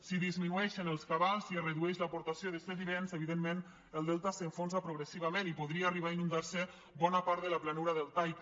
si disminueixen els cabals i es redueix l’aportació de sediments evidentment el delta s’enfonsa progressivament i podria arribar a inundar se bona part de la planura deltaica